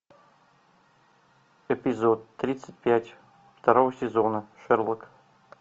эпизод тридцать пять второго сезона шерлок